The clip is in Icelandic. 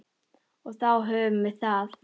Og þá höfum við það.